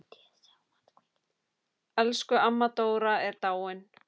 Elsku amma Dóra er dáin.